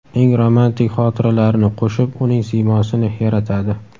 eng romantik xotiralarini qo‘shib - uning siymosini yaratadi.